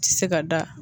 Ti se ka da